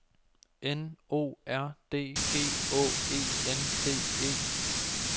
N O R D G Å E N D E